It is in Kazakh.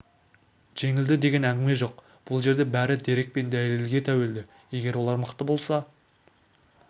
жеңілді деген әңгіме жоқ бұл жерде бәрі дерек пен дәлелге тәуелді егер олар мықты болса